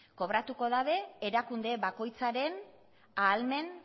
kobratuko dute erakunde bakoitzaren ahalmen